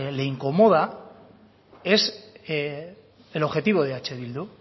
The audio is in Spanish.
le incomoda es el objetivo de eh bildu